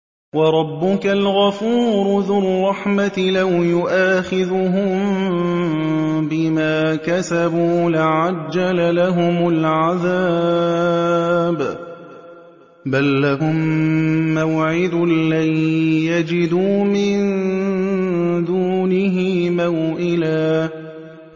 وَرَبُّكَ الْغَفُورُ ذُو الرَّحْمَةِ ۖ لَوْ يُؤَاخِذُهُم بِمَا كَسَبُوا لَعَجَّلَ لَهُمُ الْعَذَابَ ۚ بَل لَّهُم مَّوْعِدٌ لَّن يَجِدُوا مِن دُونِهِ مَوْئِلًا